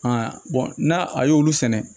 n'a a y'olu sɛnɛ